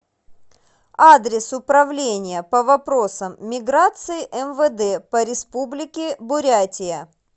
адрес управление по вопросам миграции мвд по республике бурятия